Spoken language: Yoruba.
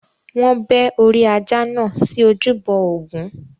Wọn bẹ́ orí ajá náà sí ojúbọ Ògún.